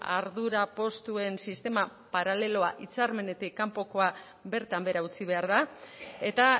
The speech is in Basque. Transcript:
ardura postuen sistema paraleloa hitzarmenetik kanpokoa bertan behera utzi behar da eta